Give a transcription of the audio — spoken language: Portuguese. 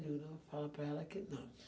Falei não, fala para ela que não.